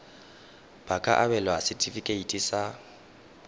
ba ka abelwa setefikeiti sa